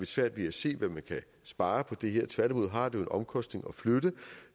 svært ved at se hvad man kan spare på det her tværtimod har det jo en omkostning at flytte